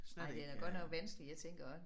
Ej den er godt nok vanskelig jeg tænker også